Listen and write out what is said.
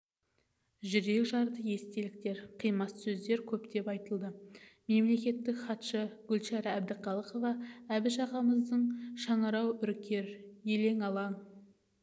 жүрекжарды естеліктер қимас сөздер көптеп айтылды мемлекеттік хатшы гүлшара бдіхалықова біш ағамыздың шыңырау үркер елең-алаң